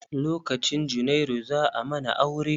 Lokcin junairu, za a mana aure.